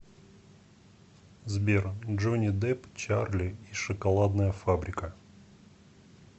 сбер джони деп чарли и шоколадная фабрика